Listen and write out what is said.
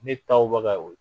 Ne taw baga